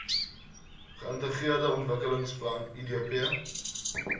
geintegreerde ontwikkelingsplan idp